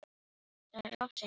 Það er of seint, sagði hann.